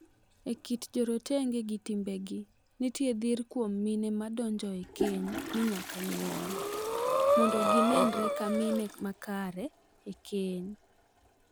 E kit jorotenge gi timbegi nitie dhir kuom mine madonjo e keny ni nyaka nyuol, mondo gi nenre ka mine makare e keny.